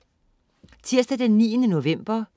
Tirsdag den 9. november